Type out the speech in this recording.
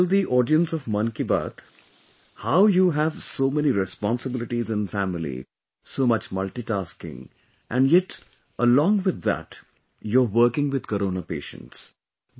Do tell the audience of Mann Ki Baat how you have so many responsibilities in family, so much multitasking and yet, along with that, you are working with Corona patients